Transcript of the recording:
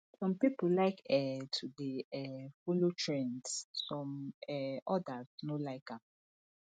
some pipo like um to de um follow trends some um others no like am